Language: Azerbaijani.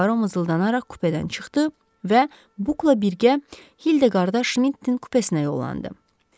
Puaro mızıldanaraq kupedən çıxdı və Bukla birgə Hilda qardaş Mitenin kupəsinə yollandı.